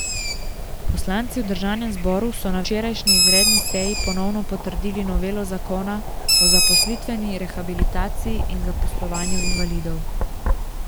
Poslanci v državnem zboru so na včerajšnji izredni seji ponovno potrdili novelo zakona o zaposlitveni rehabilitaciji in zaposlovanju invalidov.